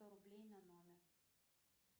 сто рублей на номер